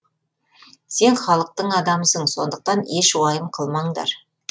сен халықтың адамысың сондықтан еш уайым қылмаңдар